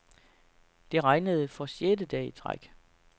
Det regnede for sjette dag i træk.